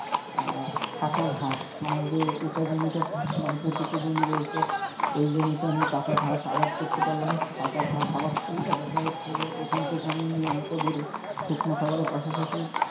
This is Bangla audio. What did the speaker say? আহ কাঁচা ঘাস আমার যে উঁচা জমিটা মানে পতিত জমি রয়েছে ওই জমিতে আমি কাঁচা ঘাস আবাদ করতে পারলাম, কাঁচা ঘাস আবাদ করলে দেখা যাচ্ছে যে ওখান থেকে আমি নিয়মিত গরুর শুকনো খাবারের পাশাপাশি,